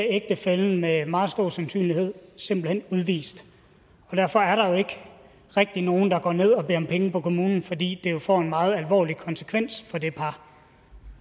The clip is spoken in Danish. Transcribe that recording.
ægtefællen med meget stor sandsynlighed simpelt hen udvist og derfor er der jo ikke rigtig nogen der går ned og beder om penge på kommunen fordi det jo får en meget alvorlig konsekvens for det par